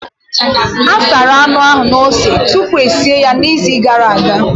A sara anụ ahụ na ose tupu e sie ya n'izu gara aga.